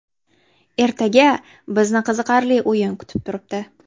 Ertaga bizni qiziqarli o‘yin kutib turibdi.